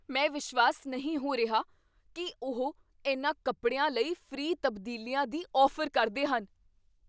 ਮੈਂ ਵਿਸ਼ਵਾਸ ਨਹੀਂ ਹੋ ਰਿਹਾ ਕੀ ਉਹ ਇਨ੍ਹਾਂ ਕੱਪੜਿਆਂ ਲਈ ਫ੍ਰੀ ਤਬਦੀਲੀਆਂ ਦੀ ਔਫ਼ਰ ਕਰਦੇ ਹਨ!